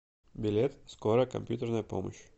билет скорая компьютерная помощь